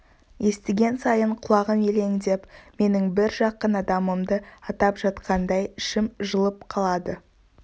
естіген сайын құлағым елеңдеп менің бір жақын адамымды атап жатқандай ішім жылып қалады